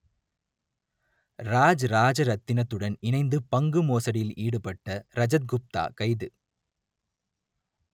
ராஜ் ராஜரத்தினத்துடன் இணைந்து பங்கு மோசடியில் ஈடுபட்ட ரஜத் குப்தா கைது